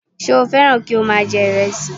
Ṣé o fẹ́ràn kí o má a jẹ ìrẹsì